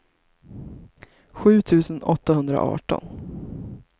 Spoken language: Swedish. sju tusen åttahundraarton